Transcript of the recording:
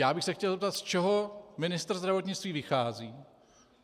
Já bych se chtěl zeptat, z čeho ministr zdravotnictví vychází.